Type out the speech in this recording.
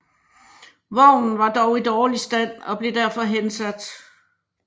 Vognen var dog i dårlig stand og blev derfor hensat